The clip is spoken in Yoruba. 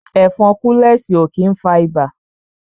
Ẹ̀fọn kúlẹ̀sì ó kí ń fa ibà